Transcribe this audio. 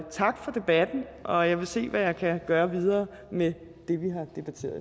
tak for debatten og jeg vil se hvad jeg kan gøre videre med